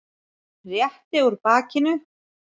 Rétti úr bakinu.